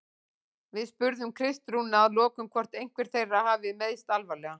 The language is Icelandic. Við spurðum Kristrúnu að lokum hvort einhver þeirra hafi meiðst alvarlega?